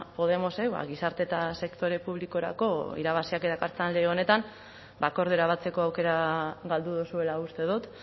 podemosek ba gizarte eta sektore publikorako irabaziak dakartzan lege honetan ba akordiora batzeko aukera galdu duzuela uste dut